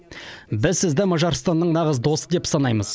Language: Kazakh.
біз сізді мажарстанның нағыз досы деп санаймыз